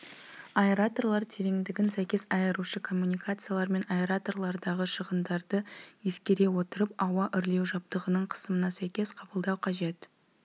аэраторлар тереңдігін сәйкес айырушы коммуникациялар мен аэраторлардағы шығындарды ескере отырып ауа үрлеу жабдығының қысымына сәйкес қабылдау қажет